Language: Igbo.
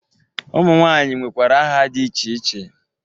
Ụmụnwaanyị nwekwara aha dị iche iche